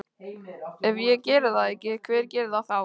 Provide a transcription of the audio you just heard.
Ef ég geri það ekki, hver gerir það þá?